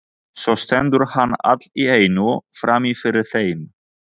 Svo stendur hann allt í einu frammi fyrir þeim.